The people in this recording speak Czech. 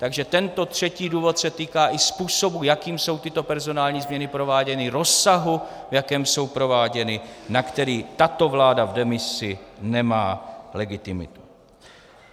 Takže tento třetí důvod se týká i způsobu, jakým jsou tyto personální změny prováděny, rozsahu, v jakém jsou prováděny, na který tato vláda v demisi nemá legitimitu.